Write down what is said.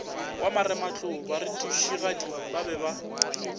wa marematlou barutišigadi ba be